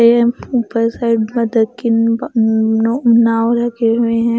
M ऊपर side नाव रखी हुईं है।